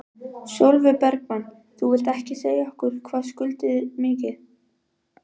Sólveig Bergmann: Þú vilt ekki segja okkur hvað skuldir mikið?